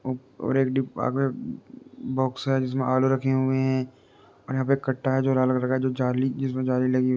ओप और एक डिब्बा में बॉक्स है जिसमें आलू रखे हुए हैं और यहाँ पे कट्टा है जो लाल कलर का जो जाली जिसमें जाली लगी --